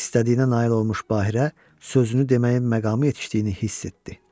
İstədiyinə nail olmuş Bahirə sözünü deməyin məqamı yetişdiyini hiss etdi.